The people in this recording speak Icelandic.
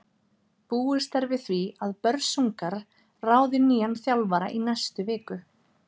Búist er við því að Börsungar ráði nýjan þjálfara í næstu viku.